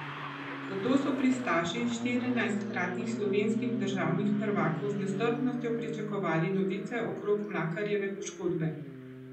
Zato so pristaši štirinajstkratnih slovenskih državnih prvakov z nestrpnostjo pričakovali novice okrog Mlakarjeve poškodbe.